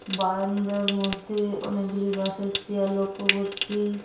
বারান্দার মধ্যে অনেকগুলি বাঁশের চেয়ার লক্ষ্য করছি।